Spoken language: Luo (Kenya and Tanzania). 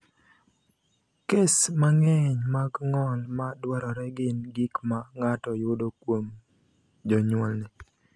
Kes mang’eny mag ng’ol ma dwarore gin gik ma ng’ato yudo kuom jonyuolne.